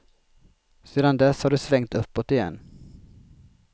Sedan dess har det svängt uppåt igen.